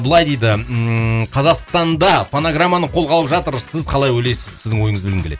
былай дейді ммм қазақстанда фонограмманы қолға алып жатыр сіз қалай ойлайсыз сіздің ойыңызды білгім келеді